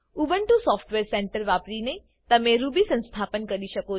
Ubuntu software centre વાપરીને તમે Ruby સંસ્થાપન કરી શકો છો